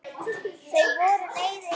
Þau voru leið yfir þessu.